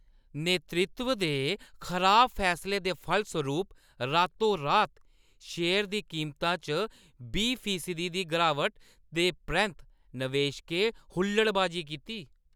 नेतृत्व दे खराब फैसले दे फलसरूप रातो-रात शेयर दी कीमता च बीह् फीसदी दी गिरावट दे परैंत्त नवेशकें हुल्लड़बाजी कीती।